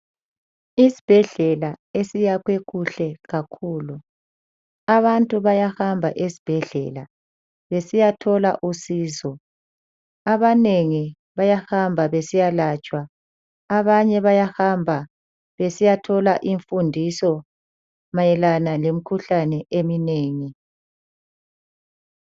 Isibhedlela esiyakhwe kuhle kakhulu. Abantu bayahamba esibhedlela besiyathola usizo. Abanengi bayahamba besiyalatshwa, abanye bayahamba besiyathola imfundiso mayelana lemikhuhlane eminengi.